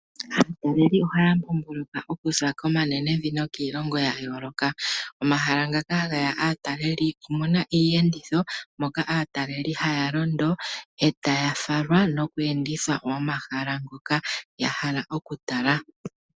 Aatalelipo ohaya mbomboloka okuza komanenevi nokiilongo yayooloka. Omahala ngaka hageya aatalelipo omuna iiyenditho moka aatalelipo haya londo etaya falwa noku endithwa momahala ngoka yahala okutala.